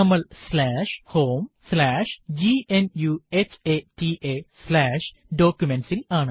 നമ്മൾ homegnuhataDocuments ൽ ആണ്